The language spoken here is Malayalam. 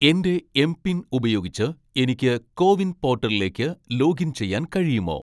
എന്റെ എംപിൻ ഉപയോഗിച്ച് എനിക്ക് കോ വിൻ പോർട്ടലിലേക്ക് ലോഗിൻ ചെയ്യാൻ കഴിയുമോ